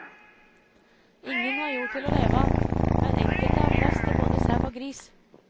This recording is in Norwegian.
Ingen har jord til å leve av, men enkelte har plass til både sau og gris.